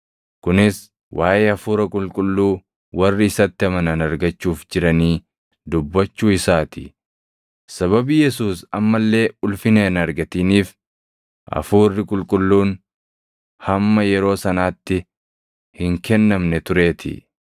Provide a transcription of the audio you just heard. Kunis waaʼee Hafuura Qulqulluu warri isatti amanan argachuuf jiranii dubbachuu isaa ti. Sababii Yesuus amma illee ulfina hin argatiniif Hafuuri Qulqulluun hamma yeroo sanaatti hin kennamne tureetii.